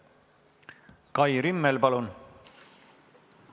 Kai Rimmel, palun!